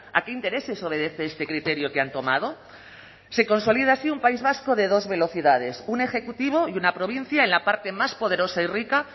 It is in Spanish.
a qué intereses obedece este criterio que han tomado se consolida así un país vasco de dos velocidades un ejecutivo y una provincia en la parte más poderosa y rica